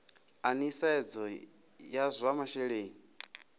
a nisedzo ya zwa masheleni